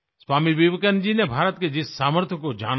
स्वामी विवेकानंद जी ने भारत के जिस सामर्थ्य को जाना था